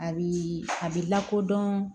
A bi a bi lakodɔn